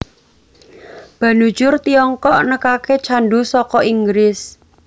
Banujur Tiongkok nekake candu saka Inggris